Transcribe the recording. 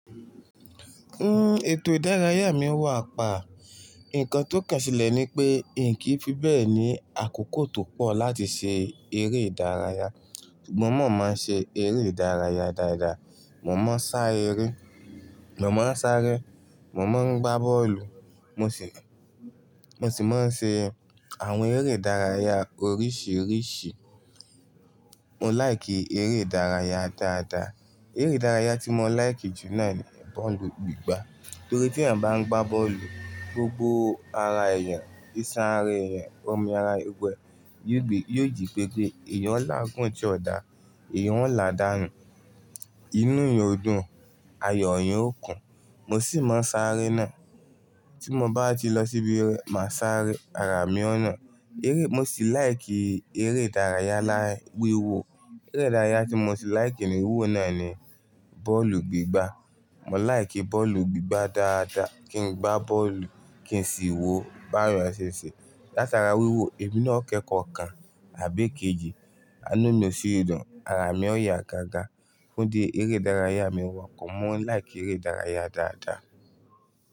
Hmm, ètò ìdárayá mi wà pa. Ǹkan tó kẹ́ṣẹ̀lẹ̀ ni pé n kìí fi bẹ́ẹ̀ ní àkókò tó pọ̀ láti ṣe eré ìdárayá. Sugbọn mo máa ń ṣe eré ìdárayá dáadáa. Mo máa ń sá eré, mo máa ń sáré, mo máa ń gbá bọ́ọ̀lù, mo sì, mo sì máa ń ṣe àwọn eré ìdárayá oríṣiríṣi. Mo láìkì eré ìdárayá dáadáa. Eré ìdárayá tí mo láìkì jùlọ ni bọ́ọ̀lù gbígbá torí tí èèyàn bá ń gbá bọ́ọ̀lù, gbogbo ara èèyàn, isan ara ẹyan, ọmọ ara, gbogbo eé yóò gbe, yóò jí pepe. Ẹ̀yàn ó láàgún tí ó da, ẹ̀yàn ó làdàánu, inú èèyàn o dùn, ayọ̀ èèyàn ó kùn. Mo sì máa ń sáré náà. Tí mo bá ti lọ síbi máa sáré, ara mi ó na. Eré mo sì láìkì eré ìdárayá láì wíwo. Eré ìdárayá tí mo sì láìkì ní wíwò náà ni bọ́ọ̀lù gbígbá. Mo láìkì bọ́ọ̀lù gbígbá dáadáa. Kí n gbá bọ́ọ̀lù, kí n sì wò ó báwon eyan ṣèṣè. Látara wíwò, èmi náà kẹ́kọ̀ọ́ kan àbí kejì, àánú mi ò sì dùn, ara mi ó yà gágá. Ó di eré ìdárayá mi wọ́pọ̀. Mo láìkì eré ìdárayá dáadáa.